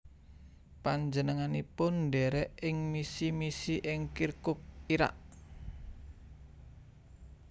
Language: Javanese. Panjenenganipun ndherek ing misi misi ing Kirkuk Irak